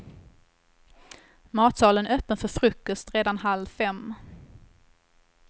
Matsalen öppen för frukost redan halv fem.